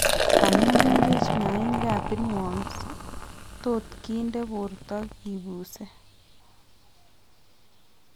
Amun meng'ech maainik ab pinworms tot kinde borto kibuuse